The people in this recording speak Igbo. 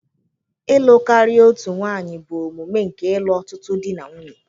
Ịlụ karịa otu nwanyị bụ omume nke ịlụ ọtụtụ di na nwunye.